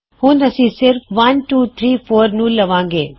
ਹੁਣ ਅਸੀਂ ਸਿਰਫ 1234 ਨੂੰ ਲਵਾਂਗੇ